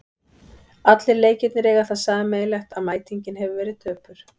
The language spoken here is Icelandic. Allir leikirnir eiga það sameiginlegt að mætingin hefur verið döpur.